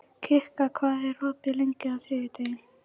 Kikka, hvað er opið lengi á þriðjudaginn?